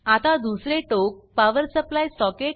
आता दुसरे टोक पॉवर सप्लाय सॉकेट